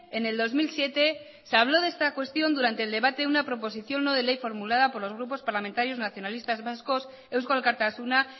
en el dos mil siete se habló de esta cuestión durante el debate una proposición no de ley formulada por los grupos parlamentarios nacionalistas vascos eusko alkartasuna